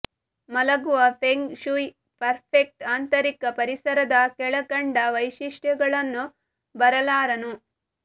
ಮಲಗುವ feng shui perfect ಆಂತರಿಕ ಪರಿಸರದ ಕೆಳಕಂಡ ವೈಶಿಷ್ಟ್ಯಗಳನ್ನು ಬರಲಾರನು